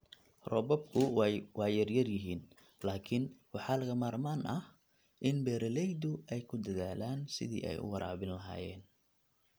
Roobabku waa yar yihiin, laakiin waxaa lagama maarmaan ah in beeralaydu ay ku dadaalaan sidii ay u waraabin lahaayeen